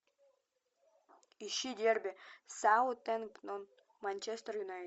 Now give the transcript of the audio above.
ищи дерби саутгемптон манчестер юнайтед